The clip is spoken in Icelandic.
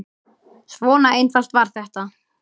Svona einfalt var þetta.